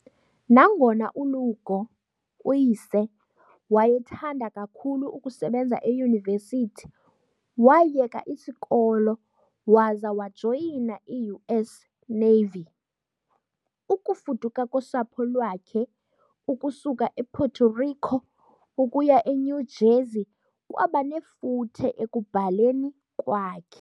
Nangona uLugo, uyise, wayethanda kakhulu ukusebenza eyunivesithi, wayeka isikolo waza wajoyina i-US Navy . Ukufuduka kosapho lwakhe ukusuka ePuerto Rico ukuya eNew Jersey kwaba nefuthe ekubhaleni kwakhe.